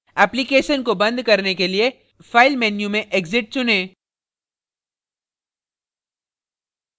application को बंद करने के लिए file menu में exit चुनें